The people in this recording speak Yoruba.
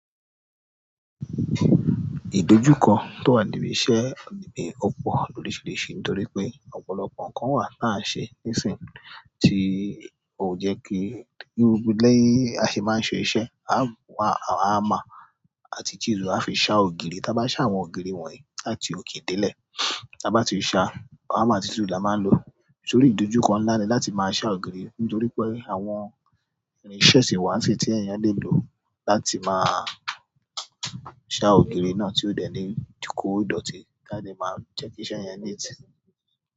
Idojuko to wa ni ibise ni pe, opo ni o le se, toripe, ọ̀pọ̀lọpọ̀ nkan lo wa ta n se nisin ti o je ki, bi a se ma n se iṣẹ́ hammer- àti chisel a fi ṣá ògiri. Táa bá ṣá àwọn ògiri wọ̀nyí láti òkè délẹ̀, táa bá ti ṣá hammer àti chisel la máa ń lò, tórí ìdojúkọ ńlá ni láti máa ṣá ògiri nítorí pé àwọn irinṣẹ́ sì wà tí ènìyàn lè lò láti máa ṣá ògiri náà tí ó dẹ̀ lé ko dọ̀tí ti a dẹ́ máa jẹ́ kí iṣẹ́ yẹn neat.